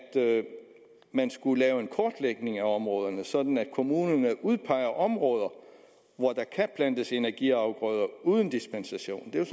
man skulle lave en kortlægning af områderne sådan at kommunerne udpeger områder hvor der kan plantes energiafgrøder uden dispensation det er